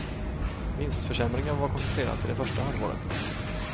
Vinstförsämringen var koncentrerad till det första halvåret.